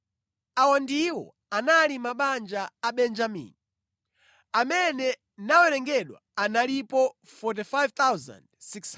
Awa ndiwo anali mabanja a Benjamini. Amene nawerengedwa analipo 45,600.